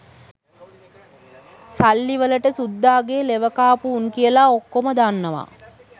සල්ලි වලට සුද්දාගේ ලෙවකාපු උන් කියලා ඔක්කෝම දන්නවා